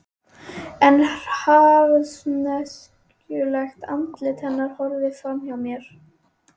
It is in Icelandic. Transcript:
En harðneskjulegt andlit hennar horfir fram hjá mér.